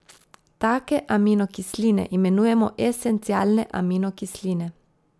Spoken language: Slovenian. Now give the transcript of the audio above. Take aminokisline imenujemo esencialne aminokisline.